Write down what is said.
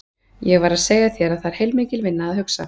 Ég var að segja þér að það er heilmikil vinna að hugsa.